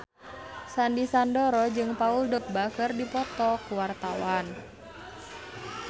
Sandy Sandoro jeung Paul Dogba keur dipoto ku wartawan